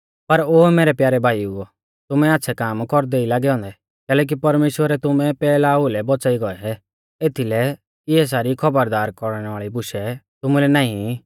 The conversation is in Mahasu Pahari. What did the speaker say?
पर ओ मैरै प्यारै भाईउओ तुमै आच़्छ़ै काम कौरदै ई लागै औन्दै कैलैकि परमेश्‍वरै तुमै पैहला ओउलै बौच़ाई गौऐ एथीलै इऐ सारी खौबरदार कौरणै वाल़ी बुशै तुमुलै नाईं ई